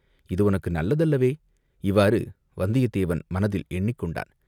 இது உனக்கு நல்லதல்லவே, இவ்வாறு வந்தியத்தேவன் மனத்தில் எண்ணிக் கொண்டான்.